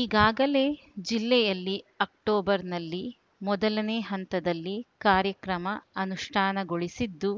ಈಗಾಗಲೇ ಜಿಲ್ಲೆಯಲ್ಲಿ ಅಕ್ಟೋಬರ್‌ನಲ್ಲಿ ಮೊದಲನೇ ಹಂತದಲ್ಲಿ ಕಾರ್ಯಕ್ರಮ ಅನುಷ್ಠಾನಗೊಳಿಸಿದ್ದು